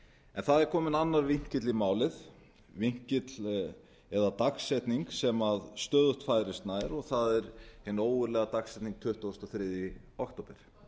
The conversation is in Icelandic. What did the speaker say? en það er kominn annar vinkill í málið dagsetning sem stöðugt færist nær og það er hin ógurlega dagsetning tuttugasta og þriðja október